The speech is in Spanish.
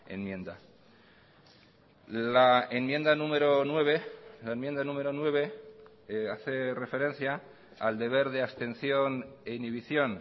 enmienda la enmienda número nueve la enmienda número nueve hace referencia al deber de abstención e inhibición